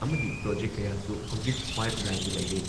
ꯑꯃꯗꯤ ꯄ꯭ꯔꯣꯖꯦꯛ ꯀꯌꯥꯁꯨ ꯍꯧꯖꯤꯛ ꯄꯥꯏꯞꯂꯥꯏꯟꯗ ꯂꯩꯔꯦ ꯫